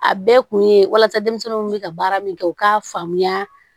A bɛɛ kun ye walasa denmisɛnninw kun bɛ ka baara min kɛ u k'a faamuya